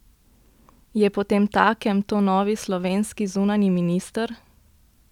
Je potemtakem to novi slovenski zunanji minister?